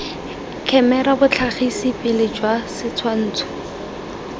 khemera botlhagisi pele jwa setshwantsho